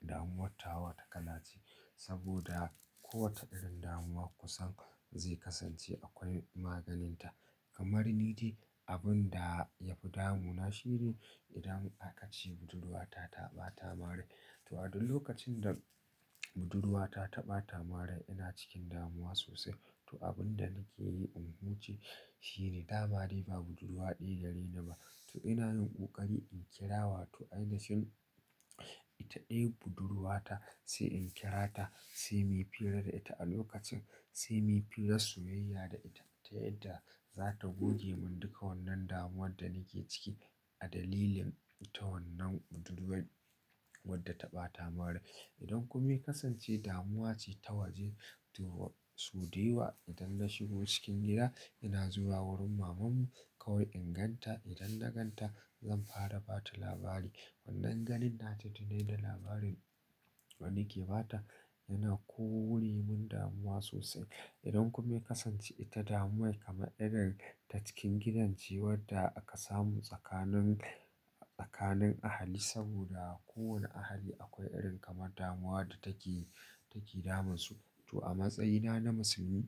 damuwar ta kala ce saboda kowace irin damuwa kusan zai kasance akwai maganinta. Kamar ni dai abun da ya fi damuna shine idan aka ce budurwa ta taɓa ta min rai. To a duk lokacin da budurwa ta taɓa ta min rai ina cikin damuwa sosai. To abin da nake yi in huce shine ta ma dai ba budurwa ɗaya gare ni ba. To ina yin ƙoƙari in kira wato ainishen ita ɗayan budurwata sai in kira ta sai mu yi fira da ita a lokacin sai mu yi firar soyayya da ita ta yadda za ta goge mun duka wannan damuwar da nake ciki a dalilin ita wannan budurwar wadda ta bata min rai. Idan ku mai kasance damuwa ce ta waje to su dawa idan na shigo cikin gida ina zuwa wurin maman mu kawai in ganta idan na ganta zan fara ba ta labari. Wannan ganin nata tuni da labarin nake ba ta yana kore mun damuwa sosai. Idan ku mai kasance ita damuwar kama irin ta cikin gidan ce wanda aka samu tsakanin ahali saboda kowane ahali akwai irin damuwa da take take damun su. To a matsayina na musulmi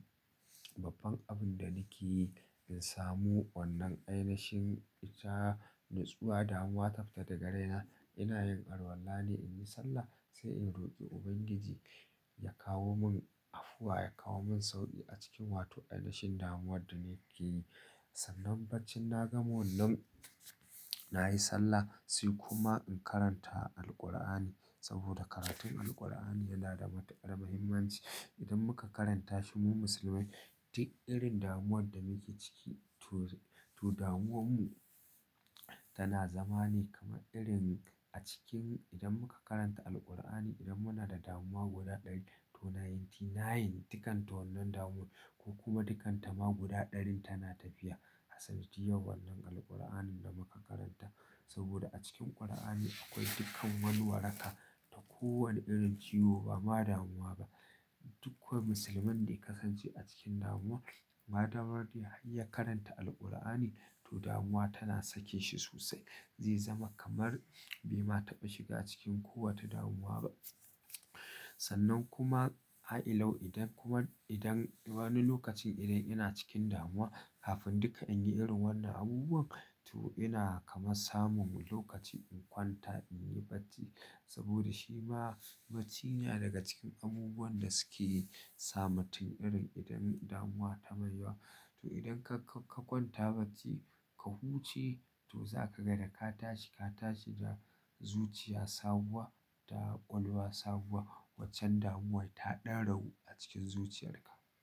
babban abun da nake yi in samu wannan ainishen ita natsuwa damuwa ta fita daga raina ina yin arwala ne in yi sallah sai in roƙi Ubangiji ya kawo mun afuwa ya kawo mun sauƙi a cikin wa to ainishen damuwar da nake yi. Sannan barcin na ga wannan na yi sallah sai kuma in karanta Alqur'ani saboda karatun Alqur'ani yana da matukar muhimmanci. Idan muka karanta shi mu musulmai duk irin damuwar da nake ciki to to damuwan mu. Tana zama ne kamar irin a cikin idan muka karanta Alqur'ani idan muna da damuwa guda ɗari to nantinai dukan ta wannan damuwar ko kuma dukanta ma guda ɗarin tana tafiya. Sadiyan wannan Alqur'anin da muka karanta saboda a cikin Qur'ani akwai dukkan wani waraka ta kowane irin ciwo ba ma damuwa ba. Duk kowane musulman da ya kasance a cikin damuwa ma damar ya ya karanta Alqur'ani to damuwa tana sake shi sosai. Zai zama kamar bai ma taɓa shiga cikin kowace damuwa ba. Sannan kuma har'ilau idan kuman idan wani lokacin idan ina cikin damuwa kafin duka in yi irin wannan abubuwan to ina kama samun lokaci in kwanta in yi bacci saboda shi ma bacci yana daga cikin abubuwan da suke ta mutum irin idan damuwa ta baiwa. To idan ka kwanta bacci ka huce to za ka ga da ka tashi ka tashi da zuciya sabuwa da ƙwaƙwalwa sabuwa waccan damuwar ta ɗan rawu a cikin zuciyarka.